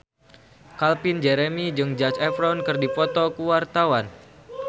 Calvin Jeremy jeung Zac Efron keur dipoto ku wartawan